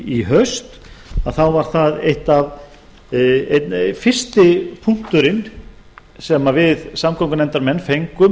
í haust þá var það einn fyrsti punkturinn sem við samgöngunefndarmenn fengum